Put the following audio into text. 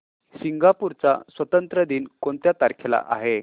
Singapore चा स्वातंत्र्य दिन कोणत्या तारखेला आहे